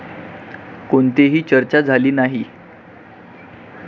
कोणतेही चर्चा झाली नाही.